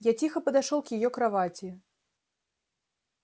я тихо подошёл к её кровати